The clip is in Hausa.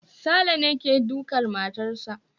Saleh ne ke dukar matarsa